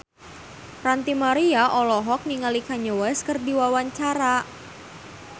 Ranty Maria olohok ningali Kanye West keur diwawancara